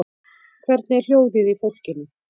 Hvernig er hljóðið í fólkinu?